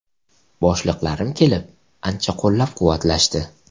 Boshliqlarim kelib, ancha qo‘llab-quvvatlashdi.